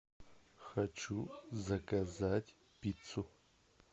хочу заказать пиццу